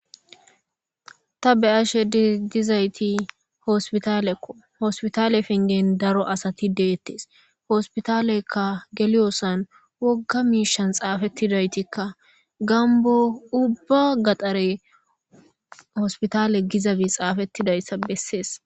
Ta be7ashe dizaytti hospitaleko ha hospitale penggen daro asati de7etes hospitalen geliyosan wogga miishan xaafetida gambbo ubba gaxare hospitalegizay xaafetidayssa bessees.